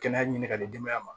Kɛnɛya ɲini ka di denbaya ma